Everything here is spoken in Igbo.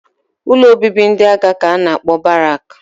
Ụlọ obibi ndị agha ka a na-akpọ Barak